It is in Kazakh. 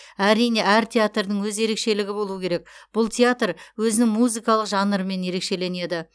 әрине әр театрдың өз ерекшелігі болу керек бұл театр өзінің музыкалық жанрымен ерекшеленеді